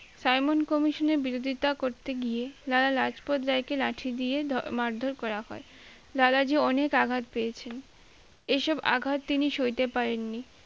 simon-Commision এ বিরোধিতা করতে গিয়ে লালা লাজপত রায়কে লাঠি দিয়ে ধ~মারধর করা হয় লালা জী অনেক আঘাত পেয়েছেন এইসব আঘাত তিনি সইতে পারেননি